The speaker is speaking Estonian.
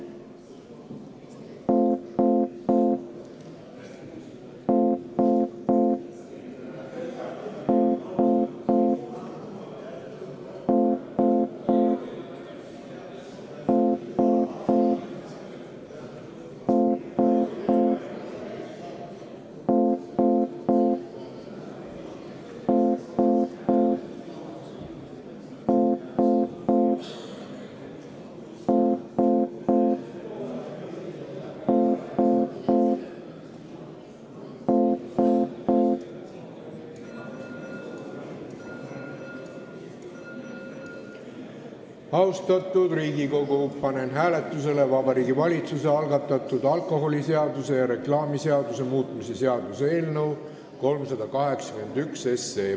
Austatud Riigikogu, panen hääletusele Vabariigi Valitsuse algatatud alkoholiseaduse ja reklaamiseaduse muutmise seaduse eelnõu 381.